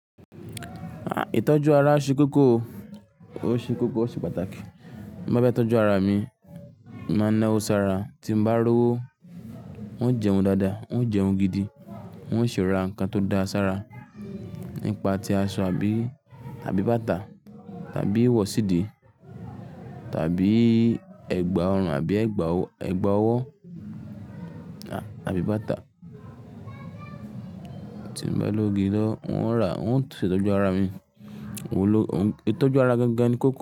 À, ìtọ́jú ara ṣe kókó, ó ṣe kókó, ó ṣe pàtàkì. Bí mo bá fẹ́ tọ́jú ara mi, mo máa na ọ́ sára tí mo bá rówó, n ó jẹun dáadáa, n ó jẹun gidi, n ó sì ra nǹkan tó dáa sára nípa ti aṣọ àbí, àbí bàtà, tàbí wọ̀sìdì, tàbí ẹ̀gbà ọrùn àbí ẹ̀gbà ọwọ́, àbí bàtà tí mo bá lógí lọ, n ó ra-- n ó tọ́jú ara mi. Òún ló, itọ́jú ara gangan ni kókó.